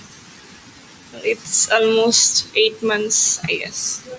its almost eight months